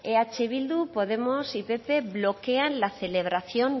eh bildu podemos y pp bloquean la celebración